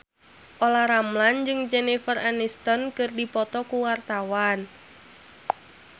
Olla Ramlan jeung Jennifer Aniston keur dipoto ku wartawan